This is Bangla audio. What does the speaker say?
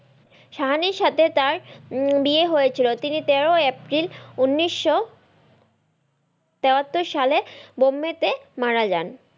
সাহানির সাথে তার উম বিয়ে হয়েছিল তিনি তেরো এপ্রিল উনিশশো তেয়াত্তর সালে বোম্বেতে মারা জান।